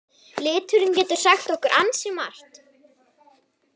Liturinn getur sagt okkur ansi margt.